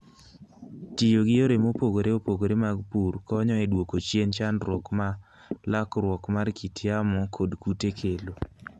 Tiyo gi yore mopogore opogore mag pur konyo e duoko chien chandruok ma lokruok mar kit yamo kod kute kelo.